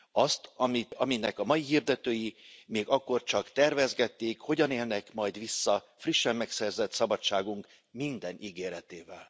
azt, aminek a mai hirdetői még akkor csak tervezgették, hogyan élnek majd vissza frissen megszerzett szabadságunk minden ígéretével.